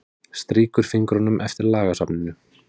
Strýkur fingrunum eftir lagasafninu.